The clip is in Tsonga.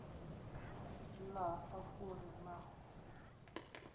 laha a ku ri na